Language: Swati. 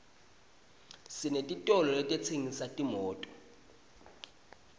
senetitolo letitsengisa timoto